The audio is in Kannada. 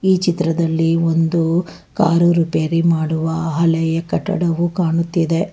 ಈ ಚಿತ್ರದಲ್ಲಿ ಒಂದು ಕಾರ್ ರಿಪೇರಿ ಮಾಡುವ ಆಲಯ ಕಟ್ಟಡವು ಕಾಣುತ್ತಿದೆ.